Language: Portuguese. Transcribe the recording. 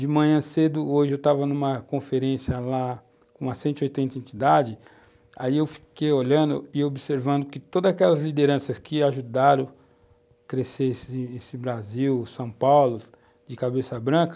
De manhã cedo, hoje, eu estava numa conferência lá com umas cento e oitenta entidades, aí eu fiquei olhando e observando que todas aquelas lideranças que ajudaram crescer esse esse Brasil, São Paulo, de cabeça branca,